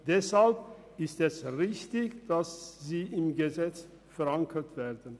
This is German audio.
Deshalb ist es richtig, dass sie im Gesetz verankert sind.